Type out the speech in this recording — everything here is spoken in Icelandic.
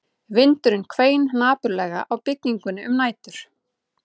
Vindurinn hvein napurlega á byggingunni um nætur